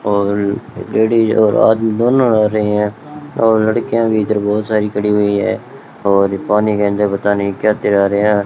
और लेडिस और आदमी दोनों आ रहे हैं और लड़कियां भी इधर बहुत सारी खड़ी हुई हैं और पानी के अंदर पता नहीं क्या किया जा रहा --